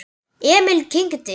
Emil kyngdi.